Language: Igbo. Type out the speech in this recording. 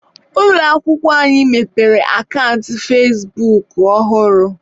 Ụlọ akwụkwọ anyị mepere akant fazebuk ọhụrụ